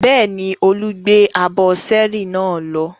Bẹ́ẹ̀ni, Olu gbé abọ́ ṣẹ́ẹ́rì náà lọ.